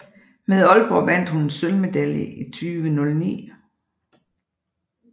Med Aalborg vandt hun en sølvmedalje i 2009